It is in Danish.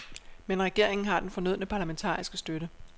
Men regeringen har den fornødne parlamentariske støtte.